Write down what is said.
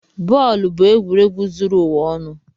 Bọọlụ bụ egwuregwu zuru ụwa ọnụ.